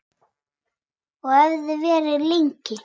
Og hefði verið lengi.